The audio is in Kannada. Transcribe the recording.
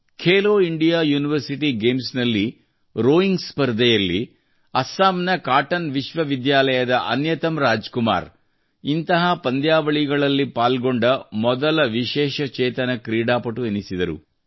ಖೇಲೋ ಇಂಡಿಯಾ ಯೂನಿವರ್ಸಿಟಿ ಗೇಮ್ಸ್ ನಲ್ಲಿ ರೋಯಿಂಗ್ ಸ್ಪರ್ಧೆಯಲ್ಲಿ ಅಸ್ಸಾಂನ ಕಾಟನ್ ವಿಶ್ವವಿದ್ಯಾಲಯ ಅನ್ಯತಮ್ ರಾಜ್ ಕುಮಾರ್ ಇಂತಹ ಪಂದ್ಯಾವಳಿಯಲ್ಲಿ ಪಾಲ್ಗೊಂಡ ಮೊದಲ ವಿಶೇಷ ಚೇತನ ಕ್ರೀಡಾಪಡು ಎನಿಸಿದರು